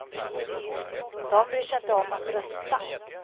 De bryr sig inte om att rösta.